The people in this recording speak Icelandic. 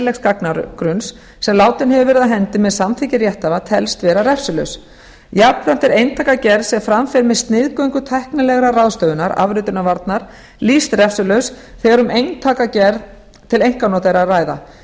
læsilegs gagnagrunns sem látinn hefur verið af hendi með samþykki rétthafa telst vera refsilaus jafnframt er eintakagerð sem framkvæmd er með sniðgöngu tæknilegra ráðstöfunar afritunarvarnar lýst refsilaus þegar um eintakagerð til einkanota er að ræða